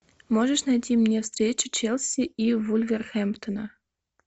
можешь найти мне встречу челси и вулверхэмптона